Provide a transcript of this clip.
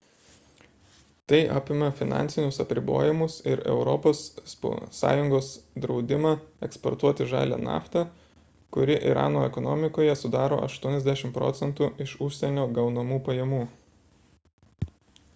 tai apima finansinius apribojimus ir europos sąjungos draudimą eksportuoti žalią naftą kuri irano ekonomikoje sudaro 80 proc. iš užsienio gaunamų pajamų